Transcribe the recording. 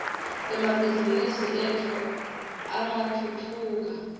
emabhizimisi etfu angatfutfuka